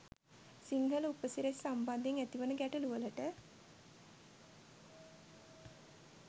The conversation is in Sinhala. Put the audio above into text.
සිංහල උපසිරැසි සම්බන්ධයෙන් ඇතිවන ගැටළුවලට